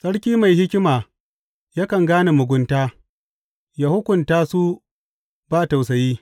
Sarki mai hikima yakan gane mugunta; ya hukunta su ba tausayi.